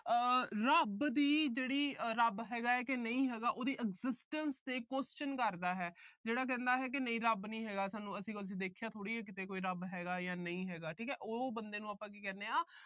ਰੱਬ ਦੀ ਜਿਹੜੀ, ਰੱਬ ਹੈਗਾ ਕਿ ਨਹੀਂ ਹੈਗਾ, ਉਹਦੀ existence ਤੇ question ਕਰਦਾ ਹੈ। ਜਿਹੜਾ ਕਹਿੰਦਾ ਰੱਬ ਨੀ ਹੈਗਾ, ਅਸੀਂ ਕਿਤੇ ਦੇਖਿਆ ਥੋੜੀ ਆ ਰੱਬ ਹੈਗਾ ਜਾਂ ਨਹੀਂ ਹੈਗਾ ਠੀਕ ਆ। ਅਸੀਂ ਕਿਹਾ ਉਹ ਬੰਦੇ ਨੂੰ ਆਪਾ ਕੀ ਕਹਿੰਦੇ ਆ